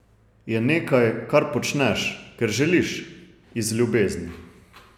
Je nekaj, kar počneš, ker želiš, iz ljubezni.